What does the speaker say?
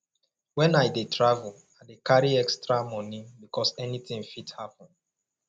wen i dey travel i dey carry extra moni because anytin fit happen